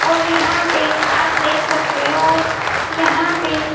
और यहां पे आप देख सकते हो यहां पे--